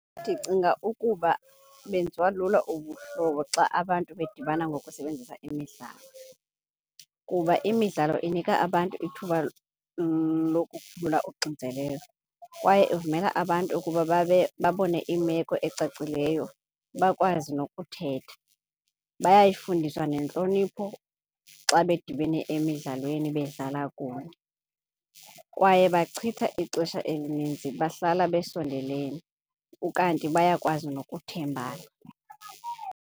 Ndicinga ukuba benziwa lula ubuhlobo xa abantu bedibana ngokusebenzisa imidlalo. Kuba imidlalo inika abantu ithuba lokukhulula uxinzelelo kwaye ivumela abantu ukuba babe babone imeko ecacileyo bakwazi nokuthetha. Bayayifundiswa nentlonipho xa bedibene emdlalweni bedlala kunye kwaye bachitha ixesha elininzi bahlala besondelene, ukanti bayakwazi nokuthembana.